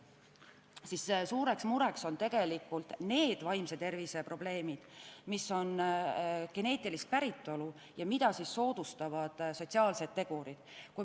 Aga suureks mureks on tegelikult hoopis need vaimse tervise probleemid, mis on geneetilist päritolu ja mida soodustavad sotsiaalsed tegurid.